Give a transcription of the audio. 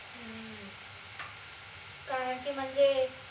कारण की म्हनजे